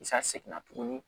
Sa seginna tuguni